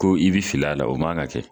Ko i bi fili a la o man ka kɛ